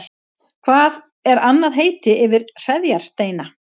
Hvert er annað heiti yfir hreðjarsteina?